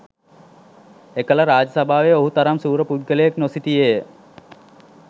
එකල රාජ සභාවේ ඔහු තරම් ශූර පුද්ගලයෙක් නොසිටියේ ය